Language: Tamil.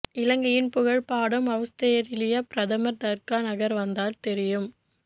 இலங்கையின் புகழ் பாடும் அவுஸ்திரேலியப் பிரதமர் தர்கா நகர் வந்தால் தெரியும்